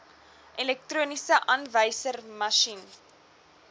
elektroniese aanwyserma sjien